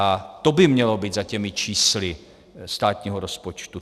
A to by mělo být za těmi čísly státního rozpočtu.